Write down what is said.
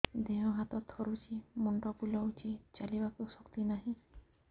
ଦେହ ହାତ ଥରୁଛି ମୁଣ୍ଡ ବୁଲଉଛି ଚାଲିବାକୁ ଶକ୍ତି ନାହିଁ